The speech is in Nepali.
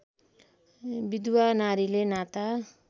विधुवा नारीले नाता